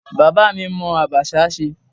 Bàbá mi mọ abacha ṣe.